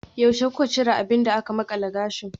Yaushe kuka cire abin da aka makala gashi?